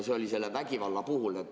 See oli selle vägivalla kohta.